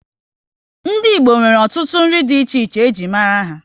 Ndị Igbo nwere ọtụtụ nri dị iche iche e ji mara ha